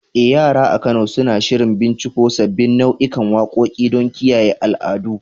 Eh, yara a Kano suna shirin binciko sabbin nau'ikan waƙoƙi don kiyaye al'adu.